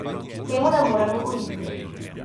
Temu ne moremo uiti.